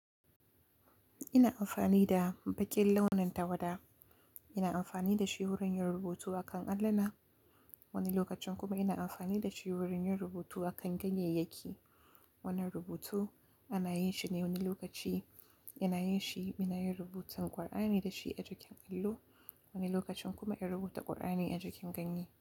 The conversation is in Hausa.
Ina amfani da baƙin launin tawada. Ina amfani da shi wurin yin rubutu a kan alluna. Wani lokacin kuma ina amfani da shi wurin yin rubutu a kan ganyeyyaki. Wannan rubutu ana yin shi ne wani lokaci, ana yin shi, muna yin rubutar ƙur'ani da shi a jikin allo. Wani lokacin kuma in rubuta ƙur'ani a jikin ganye.